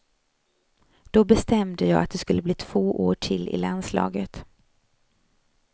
Då bestämde jag att det skulle bli två år till i landslaget.